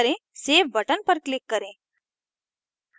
save button पर click करें